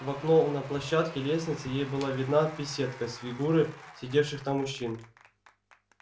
в окно на площадке лестницы ей была видна беседка с фигуры сидевших там мужчин